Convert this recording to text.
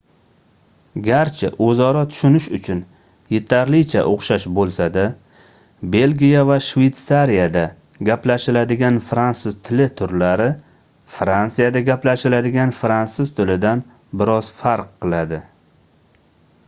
garchi oʻzaro tushunish uchun yetarlicha oʻxshash boʻlsa-da belgiya va shveytsariyada gaplashiladigan fransuz tili turlari fransiyada gaplashiladigan fransuz tilidan bir oz farq qiladi